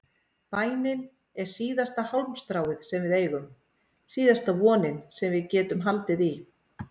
Bænin er síðasta hálmstráið sem við eigum, síðasta vonin sem við getum haldið í.